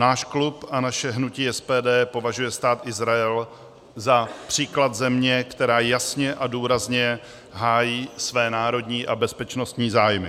Náš klub a naše hnutí SPD považuje Stát Izrael za příklad země, která jasně a důrazně hájí své národní a bezpečnostní zájmy.